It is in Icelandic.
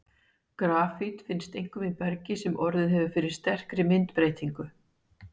Grafít finnst einkum í bergi sem orðið hefur fyrir sterkri myndbreytingu.